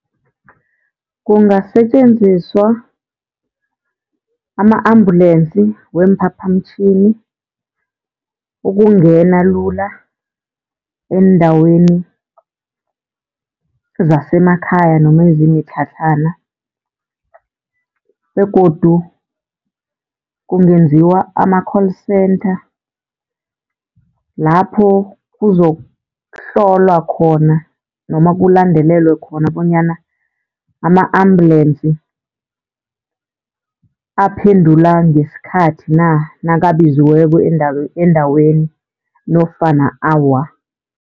Kungasetjenziswa ama-ambulensi weemphaphamtjhini ukungena lula eendaweni zasemakhaya noma ezimitlhatlhana. Begodu kungenziwa ama-call center lapho kuzokuhlolwa khona noma kulandelelwe khona bonyana ama-ambulensi aphendula ngesikhathi na nakabiziweko endaweni nofana awa.